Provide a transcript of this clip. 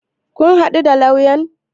Kun haɗu da lauyan?